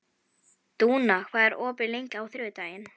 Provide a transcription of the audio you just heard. Dúna, hvað er opið lengi á þriðjudaginn?